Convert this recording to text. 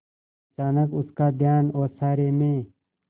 अचानक उसका ध्यान ओसारे में